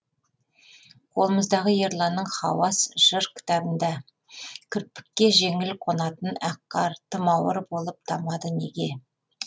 қолымыздағы ерланның хауас жыр кітабында кірпікке жеңіл қонатын ақ қар тым ауыр болып тамады неге